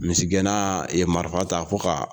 Misigɛnna ye marifa ta fo ka